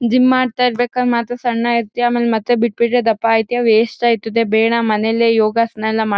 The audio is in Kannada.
ಜಿಮ್ ಮಾಡ್ತಾ ಇರ್ಬೇಕಾದ್ರೆ ಮಾತ್ರ ಸಣ್ಣ ಇರ್ತೀಯ ಆಮೇಲೆ ಮತ್ತೆ ಬಿಟ್ ಬಿಟ್ರೆ ದಪ್ಪ ಆಗ್ತೀಯ ವೇಸ್ಟ್ ಆಯ್ತದೆ ಬೇಡ ಮನೇಲೆ ಯೋಗಾಸನ ಎಲ್ಲ ಮಾಡು.